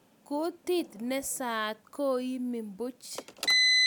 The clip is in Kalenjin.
Kutit nee saat koimi piich